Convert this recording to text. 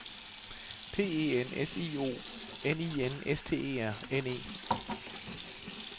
P E N S I O N I S T E R N E